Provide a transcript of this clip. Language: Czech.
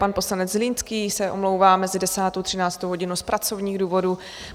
Pan poslanec Zlínský se omlouvá mezi 10. a 13. hodinou z pracovních důvodů.